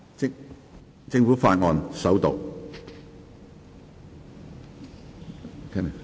政府法案：首讀。